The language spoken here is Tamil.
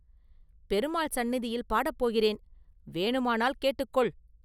பெருமாள் சந்நிதியில் பாடப் போகிறேன் வேணுமானால் கேட்டுக் கொள்!